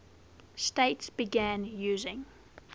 states began using